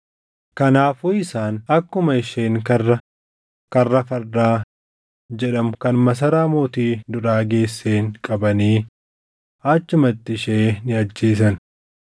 Kanaafuu isaan akkuma isheen karra “Karra Fardaa” jedhamu kan masaraa mootii duraa geesseen qabanii achumatti ishee ni ajjeesan.